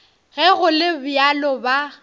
ge go le bjalo ba